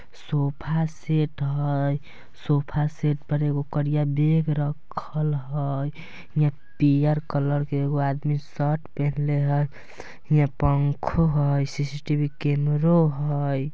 Sofa set हय sofa set पर एगो करिया बैग रखल हय हीया पियर कलर के एगो आदमी शर्ट पहनले हय हीया पंखों हय सी_सी_टी_वी कैमरो हय।